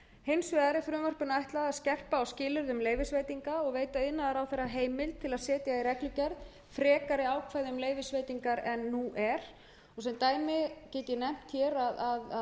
hins vegar er frumvarpinu ætlað að skerpa á skilyrðum leyfisveitinga og veita iðnaðarráðherra heimild til að setja í reglugerð frekari ákvæði um leyfisveitingar en nú er sem dæmi get ég nefnt hér að við erum að